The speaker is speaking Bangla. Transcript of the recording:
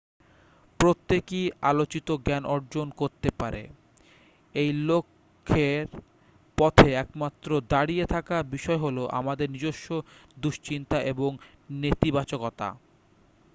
প্রত্যেকেই আলোকিত জ্ঞান অর্জন করতে পারে এই লক্ষ্যের পথে একমাত্র দাঁড়িয়ে থাকা বিষয় হল আমাদের নিজস্ব দুশ্চিন্তা এবং নেতিবাচকতা